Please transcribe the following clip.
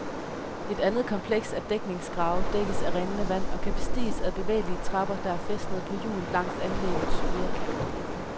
Et andet kompleks af dækningsgrave dækkes af rindende vand, og kan bestiges ad bevægelige trapper, der er fæstnet på hjul langs anlæggets ydre kant.